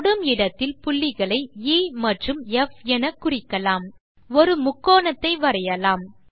தொடும் இடத்தில் புள்ளிகளை எ மற்றும் ப் எனக்குறிக்கலாம் ஒரு முக்கோணத்தை வரையலாம்